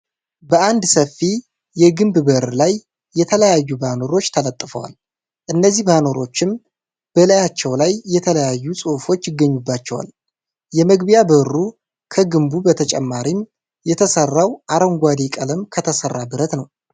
በአንድ ሰፊ የግንብ በር ላይ የተለያዩ ባነሮች ተለጥፈዋል እነዚህ ባነሮችም በላያቸው ላይ የተለያዩ ጽሁፎች ይገኙባቸዋል። የመግቢያ በሩ ከግንቡ በተጨማሪም የተሰራው አረንጓዴ ቀለም ከተሰራ ብረት ነው።